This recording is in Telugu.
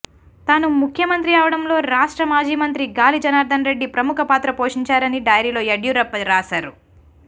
తాను ముఖ్యమంత్రి అవ్వడంలో రాష్ట్ర మాజీ మంత్రి గాలి జనార్దన్ రెడ్డి ప్రముఖ పాత్ర పోషించారని డైరీలో యడ్యూరప్ప రాశారు